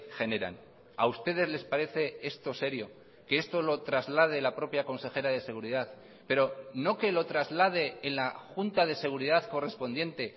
generan a ustedes les parece esto serio que esto lo traslade la propia consejera de seguridad pero no que lo traslade en la junta de seguridad correspondiente